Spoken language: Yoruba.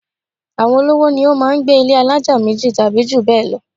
Àwọn olówó ni ó máá ń gbé ilé alájà méjì tàbí jù bẹ́ẹ̀ lọ